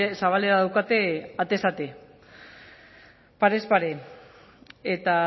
zabalik daukate parez pare eta